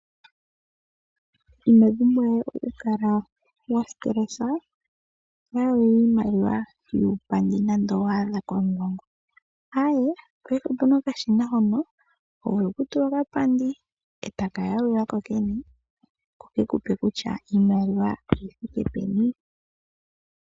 Ino pumbwa we okukala wa kwatwa kethindakano lyomadhiladhilo to yalula iimaliwa yuupandi nande owa adha komulongo. Paife opu na okashina hono ho vulu okutula okapandi e taka yalula ko kene ko ke ku pe kutya iimaliwa oyi thike peni.